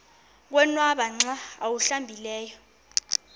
konwaba xa awuhlambileyo